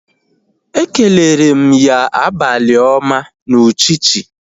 Ekelere m ya abalị ọma na uchichi